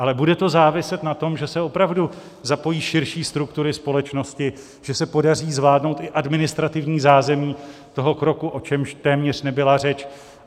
Ale bude to záviset na tom, že se opravdu zapojí širší struktury společnosti, že se podaří zvládnout i administrativní zázemí toho kroku, o čemž téměř nebyla řeč.